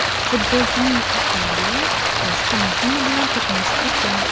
Futbolchining avtomobili boshqa mashina bilan to‘qnashib ketgan.